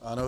Ano.